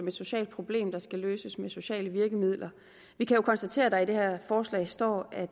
et socialt problem der skal løses med sociale virkemidler vi kan jo konstatere at der i det her forslag står at